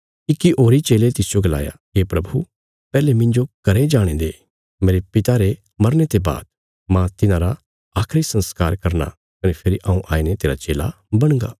इक्की होरी चेले तिसजो गलाया हे प्रभु पैहले मिन्जो घरें जाणे दे मेरे पिता रे मरने ते बाद मांह तिन्हांरा आखरी संस्कार करना कने फेरी हऊँ आईने तेरा चेला बणगा